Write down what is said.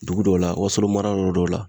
Dugu dɔw la wasolo mara yɔrɔ dɔw la